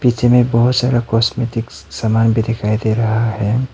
बीच में बहुत सारा कॉस्मेटिक सामान भी दिखाई दे रहा है।